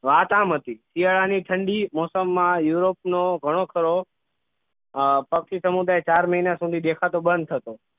વાત આમ હતી શિયાળા ની ઠંડી મોસમમાં યુરોપ નો ઘણો ખરો અ પક્ષી સમુદાય ચાર મહિના સુધી દેખાતો બંધ થતો